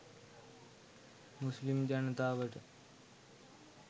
මුස්ලිම් ජනතාවට.